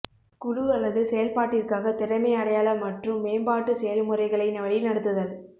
குழு அல்லது செயல்பாட்டிற்காக திறமை அடையாள மற்றும் மேம்பாட்டு செயல்முறைகளை வழிநடத்துதல்